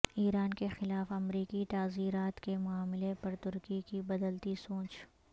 ایران کے خلاف امریکی تعزیرات کے معاملے پر ترکی کی بدلتی سوچ